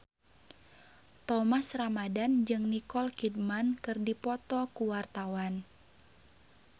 Thomas Ramdhan jeung Nicole Kidman keur dipoto ku wartawan